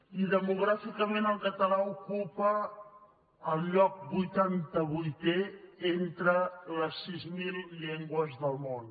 i demogràficament el català ocupa el lloc vuitanta vuitè entre les sis mil llengües del món